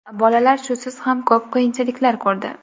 Bolalar shusiz ham ko‘p qiyinchiliklar ko‘rdi.